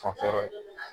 Fanfɛla